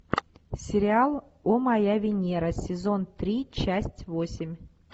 сериал о моя венера сезон три часть восемь